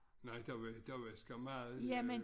Nej der var der var skam meget øh